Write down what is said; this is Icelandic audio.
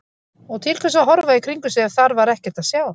Og til hvers að horfa í kringum sig ef þar var ekkert að sjá?